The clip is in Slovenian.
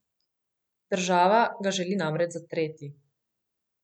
Država ga želi namreč zatreti.